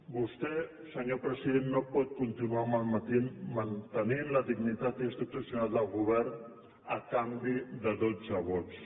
vostè senyor president no pot continuar mantenint la dignitat institucional del govern a canvi de dotze vots